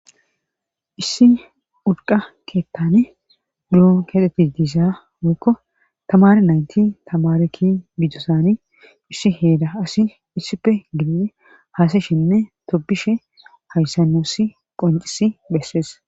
issi urqa keettan buuro keexeti diiza woykko tamare naynti tamareti bidosani issi heeda asi issife gid haasa shinne tobishe hayssanoosi qoncisi bessees